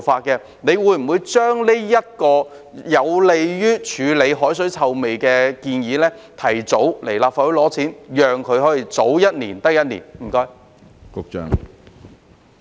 局長會否就着這項有利於處理海水臭味的建議，提早向立法會申請撥款，讓它可以盡早實行呢？